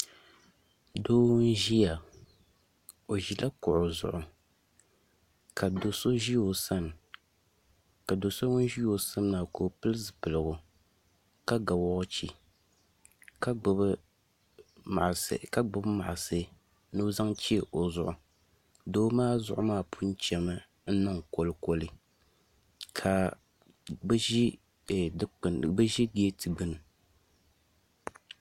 Doo n ʒiya o ʒila kuɣu zuɣu ka do so ʒi o sani ka do so ŋun ʒi o sani maa ka o pili zipiligu ka ga woochi ka gbubi maɣasi ni o zaŋ chɛ o zuɣu doo maa zuɣu maa pun chɛmi n niŋ kolikoli ka bi ʒi geeti gbuni